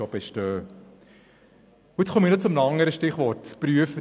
Ich komme nun noch zum Stichwort «prüfen».